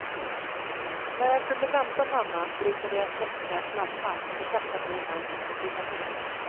När jag kunde vänta mamma brukade jag släcka lampan och sätta mig i fönstret och titta ner.